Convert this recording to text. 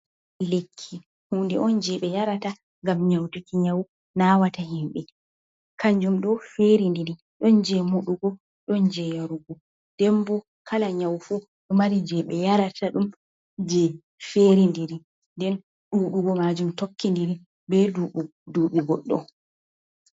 Lekki, huunde on jey ɓe yarata ngam nyawtuki nyawu naawata himɓe, kanjum ɗo feerindiri ɗon jey moɗugo ɗon jey yarugo, nden boo kala nyawu fuu ɗo mari jey ɓe yarata ɗon jey feerindiri, nden ɗuuɗugo maajum tokkindiri bee duuɓi goɗɗo.